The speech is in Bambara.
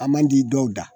A man di dɔw da